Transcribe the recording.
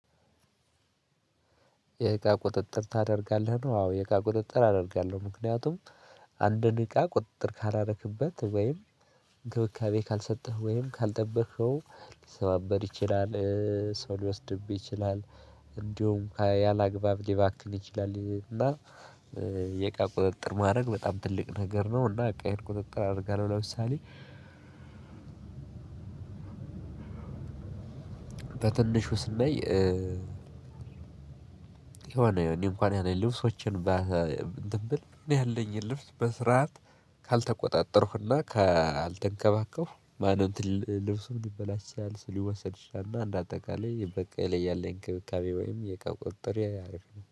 የእቃ ቁጥጥር ታደርጋለህ ነው? አዎ የእቃ ቁጥጥር አደርጋለሁ። ምክንያቱም አንድ እቃ ቁጥጥር ካላረክበት ወይም እንክብካቤ ካልሰጠህ ወይም ካልጠበህኸው ሊሰባበር ይችላል። ሰው ሊወስድብህ ይችላል። እንዲሁም ያላግባብ ሊባክል ይችላል እና የቃ ቁጥጥር ማድረግ በጣም ትልቅ ነገር ነው። እና እቃዬን ቁጥጥር አደርጋለሁ። ለምሳሌ በትልሹ ስናይ የሆነ እኔ እንኳን ያለኝ ልብሶችን እንትን ብል እኔ ያለኝ ልብስ በስርዓት ካልተቆጣጠርኩና ካልተንከባከብኩ ማን እንትን ልብሱም ሊበላሽ ያችላል። ሊወሰድ ይችላል። እና እንደ አጠቃላይ በእቃዬ ላይ ያለኝ እንክብካቤ ወይም የእቃ ቁጥጥሬ አሪፍ ነው